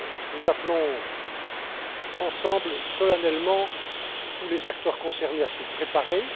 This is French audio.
Nous appelons ensemble, solennellement, tous les acteurs concernés à s'y préparer.